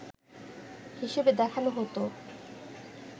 হিসেবে দেখানো হতো